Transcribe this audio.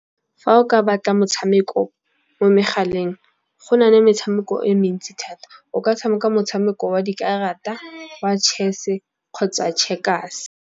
Fa o ka batla motshameko mo megaleng. Go nale metshameko e mentsi thata o ka tshameka motshameko wa dikarata, wa chess kgotsa Checkers.